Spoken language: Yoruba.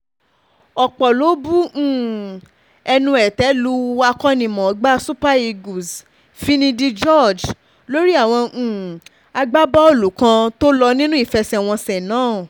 ọ̀pọ̀ ló bu um ẹnu ètè lu akó̩nimò̩ó̩gbá super eagles finidi george lórí àwọn um agbábọ́ọ̀lù kan tó lò nínú ìfe̩sè̩wo̩nsè̩ náà